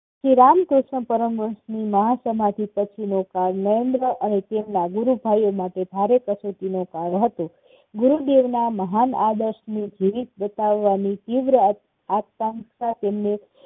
શ્રી રામકૃષ્ણ પરમહંસની મહાસમાધિ પછીનો ભાર નરેન્દ્ર અને તેમના ગુરુ ભાઈઓ માટે ભારે પ્રગતિનો ગાળો હતો. ગુરુદેવના મહાન આદર્શની બતાવાની તીવ્ર આકાંક્ષા તેમને